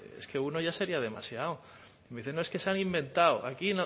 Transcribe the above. es que uno ya sería demasiado me dice no es que se han inventado aquí